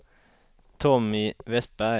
Tommy Westberg